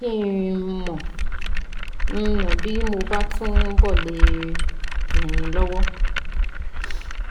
jẹ́ n mọ n mọ bí mo bá túbọ̀ le ràn yín lọ́wọ́